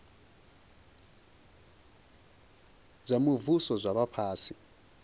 zwa muvhuso zwa vha fhasi